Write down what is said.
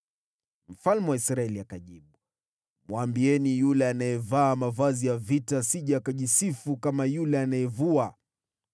Mfalme wa Israeli akajibu, “Mwambieni, ‘Yule anayevaa mavazi ya vita asije akajisifu kama yule anayevua.’ ”